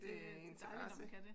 Det er dejligt når man kan det